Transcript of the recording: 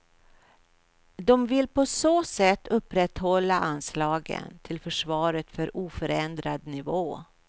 De vill på så sätt upprätthålla anslagen till försvaret på oförändrad nivå.